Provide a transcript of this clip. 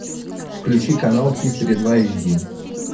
включи канал хистори два эйч ди